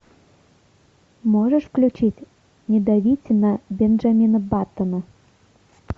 можешь включить не давите на бенджамина баттона